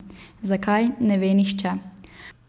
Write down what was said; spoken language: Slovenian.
Zakaj, ne ve nihče.